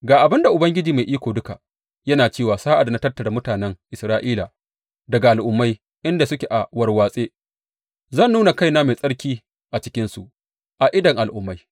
Ga abin da Ubangiji Mai Iko Duka yana cewa sa’ad da na tattara mutanen Isra’ila daga al’ummai inda suke a warwatse, zan nuna kaina mai tsarki a cikinsu a idon al’ummai.